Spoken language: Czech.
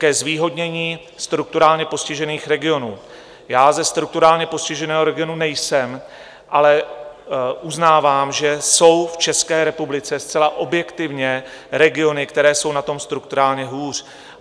Ke zvýhodnění strukturálně postižených regionů - já ze strukturálně postiženého regionu nejsem, ale uznávám, že jsou v České republice zcela objektivně regiony, které jsou na tom strukturálně hůř.